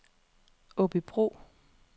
Aabybro